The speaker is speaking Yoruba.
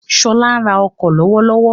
Ṣọlá ń ra ọkọ̀ lọ́wọ́lọ́wọ́.